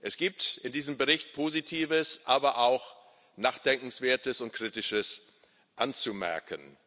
Es gibt zu diesem Bericht Positives, aber auch Nachdenkenswertes und Kritisches anzumerken.